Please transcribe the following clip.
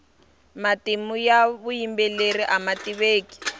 matimu ya vuyimbeleri ama tiveki